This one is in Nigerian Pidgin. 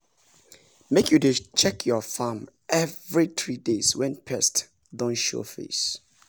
make you dey check your farm every three days when pest don show face.